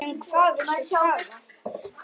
Um hvað viltu tala?